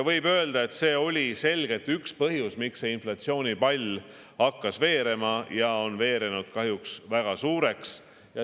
Võib öelda, et see oli selgelt üks põhjus, miks see inflatsioonipall veerema hakkas ja on nüüdseks veerenud kahjuks väga suureks.